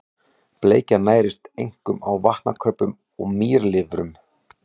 Bleikjan nærist einkum á vatnakröbbum og mýlirfum.